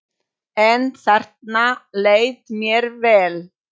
En þarna leið mér vel.